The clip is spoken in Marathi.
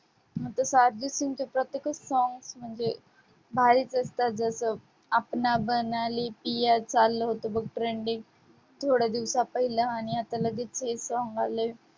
प्रत्येकच song म्हणजे भारीच असतात, जसं अपना बना ले कीया चाललं होतं बघ trending थोड्या दिवसा पहिला आणि आता लगेच हे song आलंय.